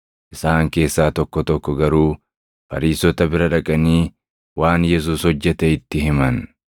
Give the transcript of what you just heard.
Isaan keessaa tokko tokko garuu Fariisota bira dhaqanii waan Yesuus hojjete itti himan.